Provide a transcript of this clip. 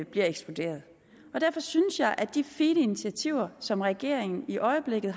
bliver ekskluderet og derfor synes jeg at de fine initiativer som regeringen i øjeblikket